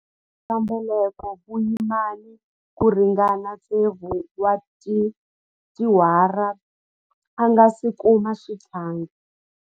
A ri na switlhavi swa mbeleko vuyimani ku ringana tsevu wa tiawara a nga si kuma xihlangi.